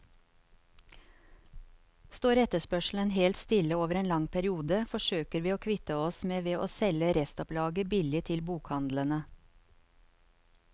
Står etterspørselen helt stille over en lang periode, forsøker vi å kvitte oss med ved å selge restopplaget billig til bokhandlene.